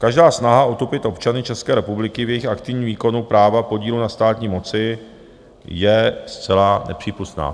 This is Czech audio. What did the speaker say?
Každá snaha otupit občany České republiky v jejich aktivním výkonu práva podílu na státní moci je zcela nepřípustná.